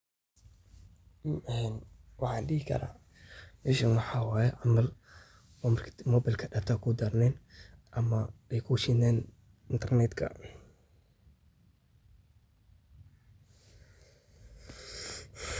Waqtiga qaar marka aad ku jirto xaalad degdeg ah ama aad isku dayeyso inaad gasho internet-ka si aad u hesho xog muhiim ah, waxaa dhici karta in aad la kulanto fariin sheegaysa in aan xiriir internet jirin, taas oo macnaheedu yahay in qalabkaaga uusan awoodin inuu ku xirmo internet-ka.